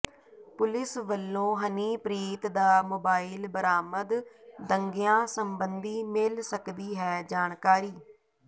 police ਵਲੋਂ ਹਨੀਪ੍ਰੀਤ ਦਾ mobile ਬਰਾਮਦ ਦੰਗਿਆਂ ਸਬੰਧੀ ਮਿਲ ਸਕਦੀ ਹੈ ਜਾਣਕਾਰੀ